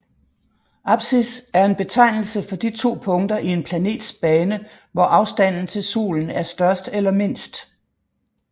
Apsis er en betegnelse for de to punkter i en planets bane hvor afstanden til solen er størst eller mindst